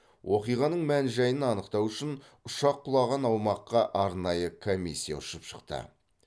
оқиғаның мән жайын анықтау үшін ұшақ құлаған аумаққа арнайы комиссия ұшып шықты